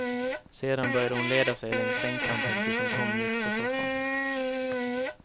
Sedan började hon leda sig längs sängkanten tills hon kom mitt för soffan.